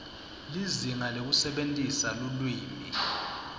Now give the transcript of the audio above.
lizinga lekusebentisa lulwimi